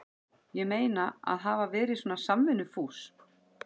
Ég meina, að hafa verið svona samvinnufús.